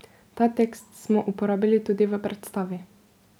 Ta tekst smo uporabili tudi v predstavi.